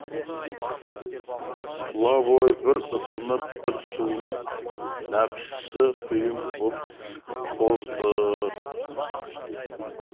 тұла бойы бір ысынып бір суынып нәпсісі құйын боп қозды